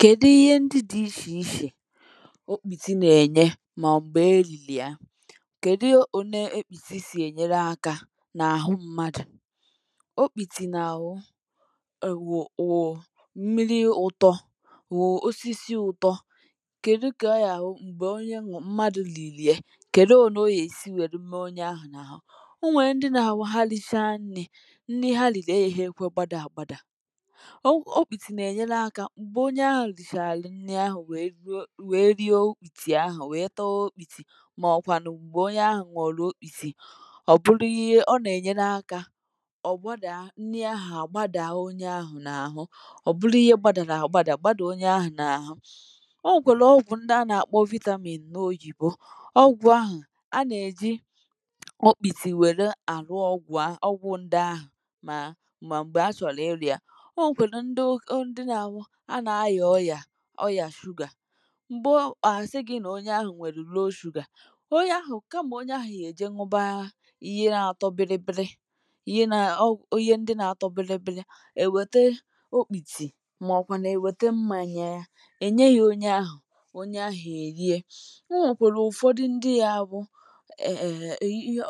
kèdu ihe ndị dị ichè ichè okpìti na-ènye mà mgbe èlìlì ya kèdu òne okpìti sì ènyere akȧ n’àhụ mmadụ̀ okpìtì n’àbụ bụ̀ mmiri ụ̀tọ bụ̀ osisi ụ̀tọ kèdu kè ọ yȧ àbụ m̀gbè onye ṅụ̀ mmadụ̀ lìlì ye kèdu ọ̀nà o yèsi wèrè mee onye ahụ̀ n’àhụ o nwèrè ndị nà àhụ ha lìchaa nnị̇ ndị ha lìlì agaghi ekwe gbȧdȧa àgbàdà okpiti n'enye aka mgbe onye ahụ̀ richàarà nni ahụ̀ wèe rie okpìtì ahụ̀ wèe taa okpìtì màọ̀kwànụ̀ m̀gbè onye ahụ̀ nuru okpìti ọ̀bụlụ ihe ọ nà-ènyere akȧ ọ̀ gbȧdà nni ahụ̀ àgbàdà ahụ̀ onye ahụ̀ n’àhụ ọ̀bụlụ ihe gbȧdà n’àgbàdà gbȧdà onye ahụ̀ n’àhụ ọ nwèlè ọgwụ̀ ndị a nà-àkpọ vitamin na oyibo ọgwụ̀ ahụ̀ a nà-èji ọkpìtì wèrè àlụ ọgwụ̀ ahụ̀ ọgwụ̀ ndị ahụ̀ mà mà m̀gbè a chọrọ ịru ya onwekwara ndi n'abu, ha na aya ọyà, ọyà sugar mgbe asị gị nà onye ahụ̀ nwèrù low sugar onye ahụ̀ kàmà onye ahụ̀ ga èje nụbȧȧ ihe na-atọ bilibili ihe ihe ndị nà-atọ bilibili èwète okpìtì màọ̀bụ̀ nà èwète mmȧnya ya ènye yȧ onye ahụ̀ onye ahụ̀ èrie onwekwara ụ̀fọdụ ndị nȧ bụ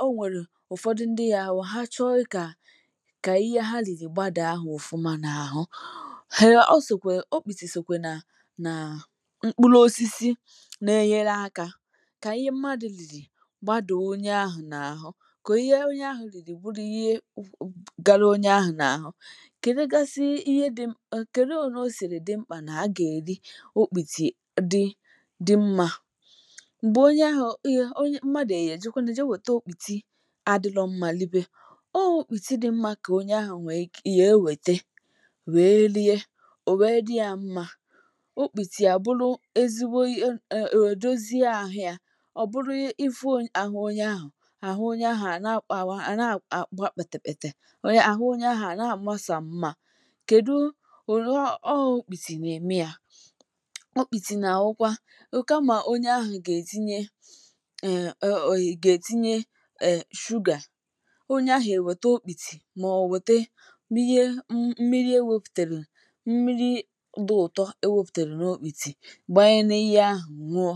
o nwèrè ụ̀fọdụ ndị nȧ bụ̀ ha chọọ kà kà ihe ha lìrì gbàdà ahụ̀ ofụma n’àhụ okpiti sokwa na mkpụrụ osisi na-enyere akȧ kà ihe mmadụ̀ lìlì gbàdaa onye ahụ̀ nàrụ kà ihe onye ahụ̀ lìlì bụrụ ihe garuo onye ahụ̀ nà-àhụ. kèdugasị ihe dị m kèdu òne o sìrì dị mkpà nà a gà-èri okpìtì dị dị mmȧ m̀gbè onye ahụ̀ mmadụ̀ o ga ejekwanu jee wète okpìtì adịlọ mmȧ libe ọ okpiti dị mmȧ kà onye ahụ̀ gà ewète wee rie, owee di ya mma okpìtì à bụrụ ezigbo ihe o dozie ahụ̇ yȧ ọ̀ bụrụ ịfụ àhụ ȯnyė ahụ̀, àhụ ȯnyė ahụ̀ à na-àkpà pètèpètè àhụ ȯnyė ahụ̀ à na-àma sọọ mma kèdu ọ okpìtì nà-ème yȧ ọkpìtì nà-àbụkwa kama onye ahụ̀ gà-ètinye è gà-ètinye shugà onye ahụ̀ ènwète okpìtì mà ọ̀ wète mmiri e mmiri wėpùtèrè mmiri di uto ewėpùtèrè n'okpiti gbànye n’ihẹ ahụ̀ ṅụọ